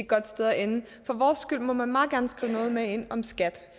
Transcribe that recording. godt sted at ende for vores skyld må man meget gerne skrive noget med ind om skat